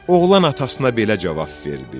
Oğlan atasına belə cavab verdi: